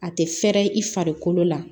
A tɛ fɛrɛ i farikolo la